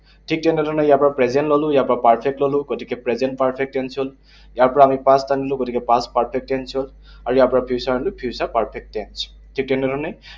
ঠিক তেনেধৰণে ইয়াৰ পৰা present ললো, ইয়াৰ পৰা perfect ললো, গতিকে present perfect tense হল। ইয়াৰ পৰা আমি past আনিলো, গতিকে past perfect tense হল। আৰু ইয়াৰ পৰা future আনিলো, future perfect tense, ঠিক তেনেধৰণে